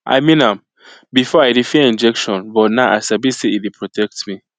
i mean am before i dey fear injection but now i sabi say e dey protect me